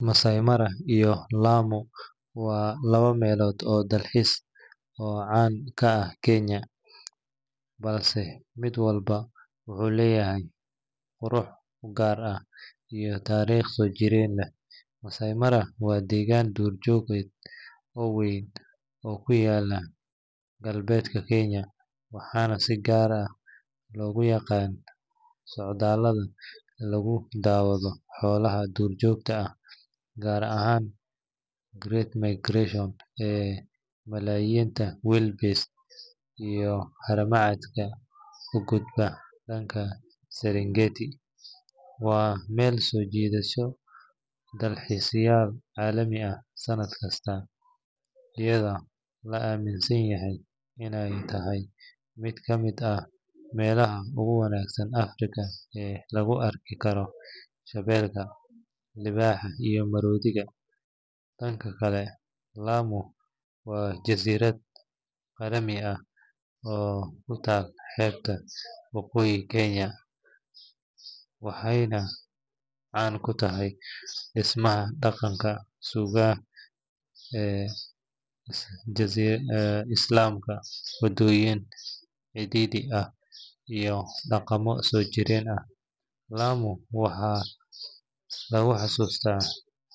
Maasai Mara iyo Lamu waa laba meelood oo dalxiis oo caan ka ah Kenya, balse mid walba wuxuu leeyahay qurux u gaar ah iyo taariikh soo jiidasho leh. Maasai Mara waa deegaan duurjoogeed oo weyn oo ku yaalla galbeedka Kenya, waxaana si gaar ah loogu yaqaan socdaallada lagu daawado xoolaha duurjoogta ah gaar ahaan Great Migration ee malaayiinta wildebeest iyo haramcadka u gudba dhanka Serengeti. Waa meel soo jiidata dalxiisayaal caalami ah sanad kasta, iyadoo la aaminsan yahay inay tahay mid ka mid ah meelaha ugu wanaagsan Afrika ee lagu arki karo shabeelka, libaaxa iyo maroodiga. Dhanka kale, Lamu waa jasiirad qadiimi ah oo ku taal xeebta woqooyi ee Kenya, waxayna caan ku tahay dhismaha dhaqanka Suuga ee Islaamka, waddooyin cidhiidhi ah iyo dhaqamo soo jireen ah. Lamu waxaa lagu xusuustaa.